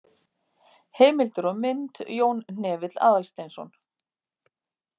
Heimildir og mynd: Jón Hnefill Aðalsteinsson.